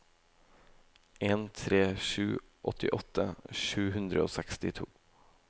en tre sju fem åttiåtte sju hundre og sekstito